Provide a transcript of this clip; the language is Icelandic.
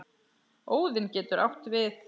Óðinn getur átt við